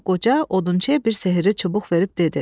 Sonra qoca odunçuya bir sehri çubuq verib dedi: